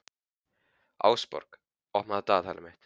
Ásborg, opnaðu dagatalið mitt.